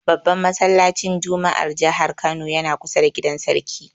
Babban masallacin juma'ar jihar Kano yana kusa da gidan Sarki.